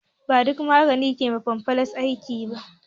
Ba duƙa magani ke ma fimfles aiki ba